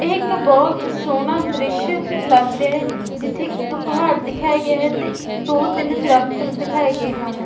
ਇੱਕ ਬਹੁਤ ਸੋਹਣਾ ਦ੍ਰਿਸ਼ ਲੱਗ ਰਿਹੈ ਜਿੱਥੇ ਕਿ ਇੱਕ ਪਹਾੜ ਦਿਖਾਇਆ ਗਿਆ ਹੈ ਤੇ ਦੋ ਤਿੰਨ ਦਰਖਤ ਦਿਖਾਏ ਗਏ ਹਨ।